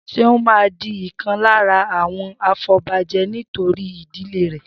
Seun máa di ìkan lára àwọn afobaje nítorí ìdílé rè